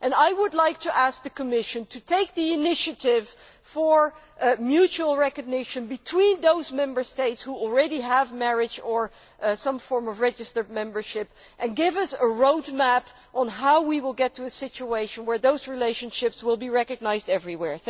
I would like to ask the Commission to take the initiative for mutual recognition between those Member States which already have marriage or some form of registered partnership and give us a roadmap on how we will get to a situation where those relationships will be recognised everywhere.